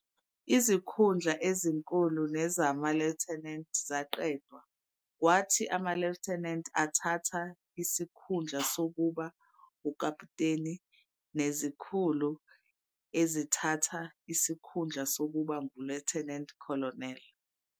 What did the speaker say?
Izikhundla ezinkulu nezama-lieutenant zaqedwa, kwathi ama-lieutenant athatha isikhundla sokuba ukaputeni nezikhulu ezithatha isikhundla sokuba ngu-lieutenant colonel.